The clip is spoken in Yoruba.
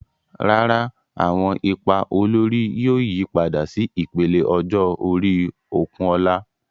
Rárá, àwọn ipa olórí yóò yípadà sí ìpele ọjọ́ orí Okunola.